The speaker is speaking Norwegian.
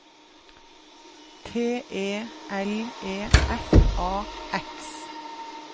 T E L E F A X